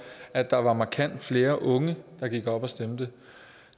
at der var markant flere unge der gik op og stemte